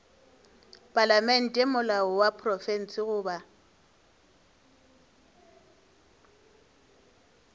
palamente molao wa profense goba